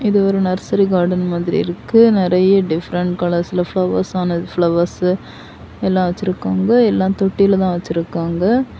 இது ஒரு nursery garden மாதிரி இருக்கு. நிறைய டிஃபரென்ட் கலர்ஸ்ல பிளவர்ஸ் ஆன ஃப்ளவர்ஸ் எல்லாம் வச்சிருக்காங்க. எல்லாம் தொட்டில தான் வச்சிருக்காங்க.